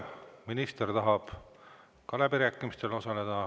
Minister tahab ka läbirääkimistel osaleda.